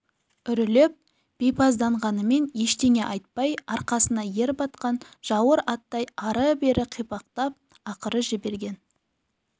үрілеп бейпазданғанымен ештеңе айтпай арқасына ер батқан жауыр аттай ары-бері қипақтап ақыры жіберген